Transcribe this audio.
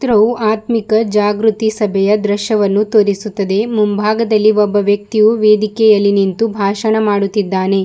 ಚಿತ್ರವು ಆತ್ಮಮಿಕ ಜಾಗೃತಿ ಸಭೆಯ ದೃಶ್ಯವನ್ನು ತೋರಿಸಿಸುತ್ತದೆ ಮುಂಭಾಗದಲ್ಲಿ ಒಬ್ಬ ವ್ಯಕ್ತಿಯು ವೇದಿಕಿಯಲಿಯೂ ನಿಂತು ಭಾಷಣ ಮಾಡುತ್ತಿದ್ದಾನೆ.